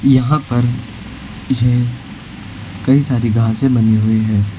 यहां पर ये कई सारी घासें बनी हुई हैं।